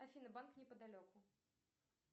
афина банк неподалеку